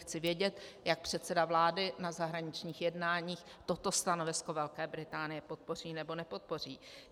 Chci vědět, jak předseda vlády na zahraničních jednáních toto stanovisko Velké Británie podpoří, nebo nepodpoří.